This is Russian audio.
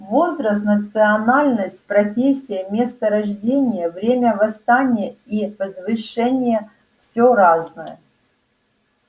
возраст национальность профессия место рождения время восстания и возвышения всё разное